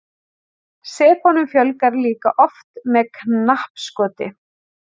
Sepunum fjölgar líka oft með knappskoti.